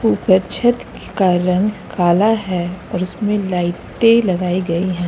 ऊपर छत ख् का रंग काला है और उसमें लाइटें लगाई गई हैं।